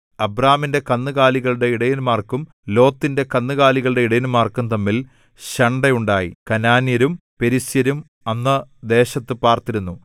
അബ്രാമിന്റെ കന്നുകാലികളുടെ ഇടയന്മാർക്കും ലോത്തിന്റെ കന്നുകാലികളുടെ ഇടയന്മാർക്കും തമ്മിൽ ശണ്ഠയുണ്ടായി കനാന്യരും പെരിസ്യരും അന്ന് ദേശത്തു പാർത്തിരുന്നു